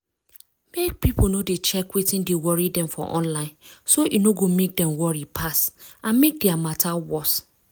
mek pipo no dey check wetin dey worry dem for online so e no go mek dem worry pass and mek their matter worse.